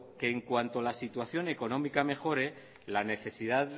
que en cuanto la situación económica mejore la necesidad